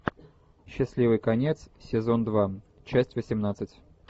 счастливый конец сезон два часть восемнадцать